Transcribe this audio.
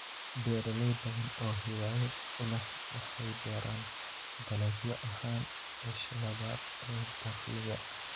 Beeraley badan oo hiwaayad u leh waxay beeraan dalagyo ahaan isha labaad ee dakhliga.